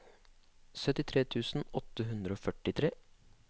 syttitre tusen åtte hundre og førtitre